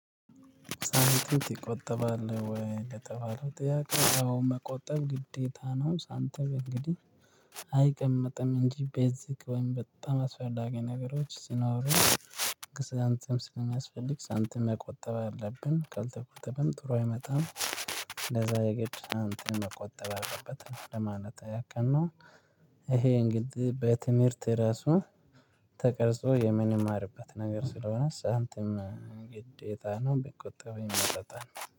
ሳንቲም ትቆጥባለህ ወይ ለተባለው ጥያቄ አወ መቆጠብ ግዴታ ነው። ሳንታም እንግዲህ አይቀመጥም እንጂ ቤዚክ ወይም በጣም አስፈላጊ ነገሮች ሲኖሩ ገንዘብ ስለሚያስፈልግ ሳንቲም መቆጠብ አለብን ካልተቆጠበም ጥሩ አይመጣም። ለዛ የግድ አንተ መቆጠብ አለበት ለማለት ያክል ነው ይሄ እንግዲህ በትምህርት ራሱ ተቀርጾ የምንማርበት ነገር ስለሆነ ሳንቲም ግዴታ ነው ቢቆጠብ ይመረጣል።